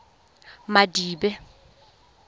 madibe